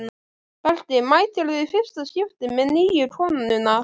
Berti mætir í fyrsta skipti með nýju konuna.